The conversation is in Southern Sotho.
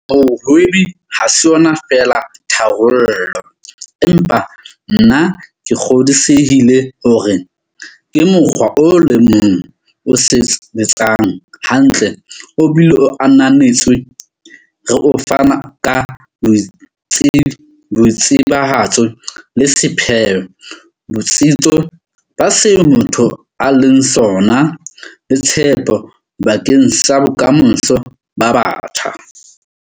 Bohwebi ha se yona feela tharollo, empa nna ke kgodisehile hore ke mokgwa o le mong o sebetsang hantle obile o ananetswe re o fana ka boitsebahatso le sepheo, botsitso ba seo motho a leng sona, le tshepo bakeng sa bokamoso ba batjha.